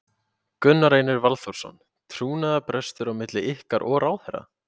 Gunnar Reynir Valþórsson: Trúnaðarbrestur á milli ykkar og ráðherra?